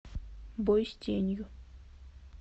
бой с тенью